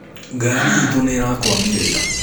ngari itũ nĩĩrakwamire ira